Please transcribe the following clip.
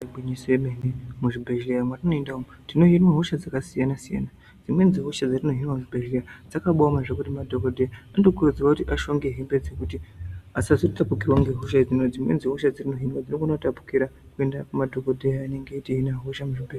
Igwinyiso ye mene mu zvibhedhleya matino enda umu tino hinwa hosha dzaka siyana siyana dzimweni dze hosha dzatino hinwa mu zvibhedhlera dzakabai oma zvekuti madhokoteya anoto kurudzirwa kuti ashonge hembe dzekuti asazo tapurirwa nge hosha idzi ngekuti dzimweni dze hosha dzino hinwa dzino gona ku tapurira kuenda pa madhokoteya anenge echito hina hosha mu zvibhedhlera.